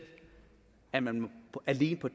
at man alene på